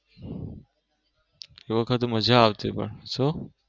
એ વખતે મજા આવતી પણ સુ?